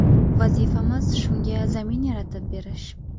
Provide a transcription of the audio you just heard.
Vazifamiz shunga zamin yaratib berish.